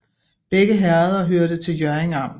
Begge herreder hørte til Hjørring Amt